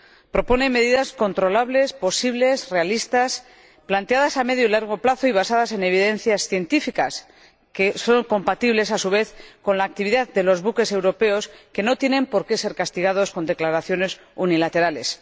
Propone medidas controlables, posibles, realistas, planteadas a medio y largo plazo y basadas en evidencias científicas que son compatibles, a su vez, con la actividad de los buques europeos, que no tienen por qué ser castigados con declaraciones unilaterales.